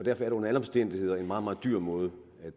er det under alle omstændigheder en meget meget dyr måde